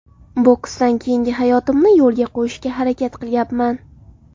Boksdan keyingi hayotimni yo‘lga qo‘yishga harakat qilyapman.